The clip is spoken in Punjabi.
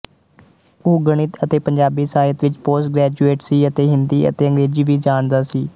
ਉਹ੍ ਗਣਿਤ ਅਤੇ ਪੰਜਾਬੀ ਸਾਹਿਤ ਵਿੱਚ ਪੋਸਟਗ੍ਰੈਜੂਏਟ ਸੀ ਅਤੇ ਹਿੰਦੀ ਅਤੇ ਅੰਗਰੇਜ਼ੀ ਵੀ ਜਾਣਦਾ ਸੀ